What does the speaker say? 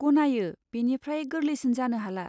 गनायो, बेनिफ्राय गोरलैसिन जानो हाला।